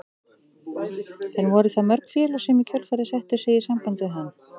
En voru það mörg félög sem í kjölfarið settu sig í samband við hann?